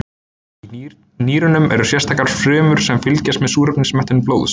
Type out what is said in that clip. Í nýrunum eru sérstakar frumur sem fylgjast með súrefnismettun blóðs.